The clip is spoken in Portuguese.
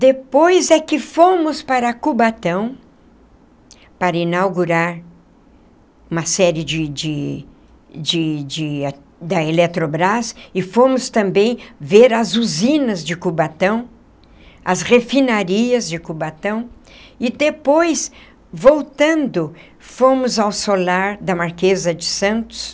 Depois é que fomos para Cubatão, para inaugurar uma série de de de de da Eletrobras, e fomos também ver as usinas de Cubatão, as refinarias de Cubatão, e depois, voltando, fomos ao Solar da Marquesa de Santos,